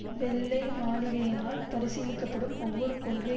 வெள்ளை மாளிகையினால் பரிசீலிக்க படும் ஒவ்வொரு கொள்கை